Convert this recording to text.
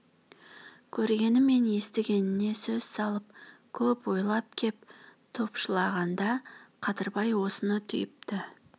көргені мен естігеніне көз салып көп ойлап кеп топшылағанда қадырбай осыны түйіпті